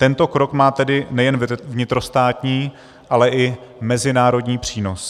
Tento krok má tedy nejen vnitrostátní, ale i mezinárodní přínos.